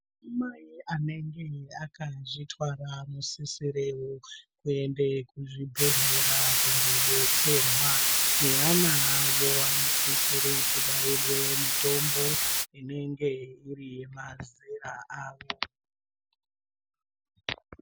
Madzimai anenge akazvitwara anosisirewo kuende kuzvibhedhlera kundodetserwa neana avo anosise kubairwe mitombo inenge iri yemazera avo.